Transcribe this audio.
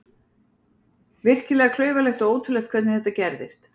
Virkilega klaufalegt og ótrúlegt hvernig þetta gerðist.